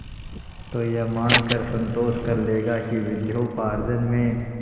तो यह मानकर संतोष कर लेगा कि विद्योपार्जन में